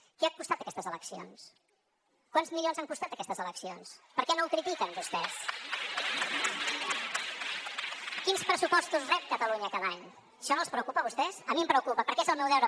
què han costat aquestes eleccions quants milions han costat aquestes eleccions per què no ho critiquen vostès quins pressupostos rep catalunya cada any això no els preocupa a vostès a mi em preocupa perquè és el meu deure